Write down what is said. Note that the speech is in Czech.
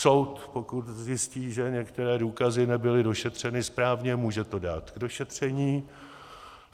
Soud, pokud zjistí, že některé důkazy nebyly došetřeny správně, může to dát k došetření.